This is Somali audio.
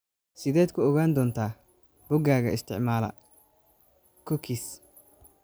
Sideed ku ogaan doontaa boggaga isticmaala cookies?